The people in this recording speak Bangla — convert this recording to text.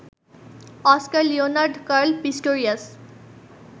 Oscar Leonard Carl Pistorius